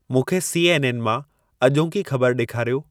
मूंखे C. N. N. मां अॼोकी ख़बर ॾेखारियो